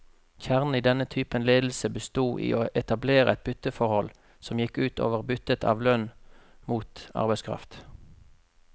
Kjernen i denne typen ledelse bestod i å etablere et bytteforhold, som gikk ut over byttet av lønn mot arbeidskraft.